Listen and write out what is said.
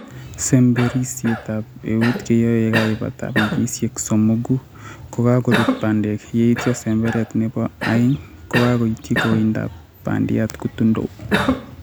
sembetrisietab eut keyoe yekaibata wikisiek somogu kokagorut bandek. Yeityo semberet nebo aeng kogaityi koindab bandiat kutundo